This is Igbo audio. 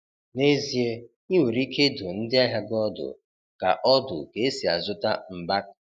N'ezie, ị nwere ike ịdụ ndị ahịa gị ọdụ ka ọdụ ka esi azụta mbak.